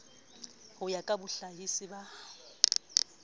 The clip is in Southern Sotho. ho ya ka bohlahisi ba